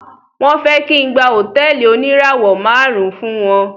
Wọ́n fẹ́ kí n gba hotẹ́ẹ́lì oníràwò márùn ùn fún wọn.